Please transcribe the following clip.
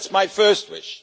So that is my first wish.